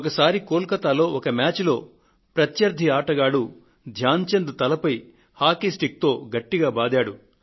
ఒకసారి కోల్ కతాలో ఒక మ్యాచ్లో ప్రత్యర్థి ఆటగాడు ధ్యాన్ చంద్ తలపై హాకీ స్టిక్ తో గట్టిగా బాదాడు